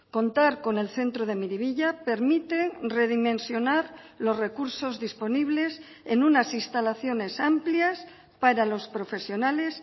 contar con el centro de miribilla permite redimensionar los recursos disponibles en unas instalaciones amplias para los profesionales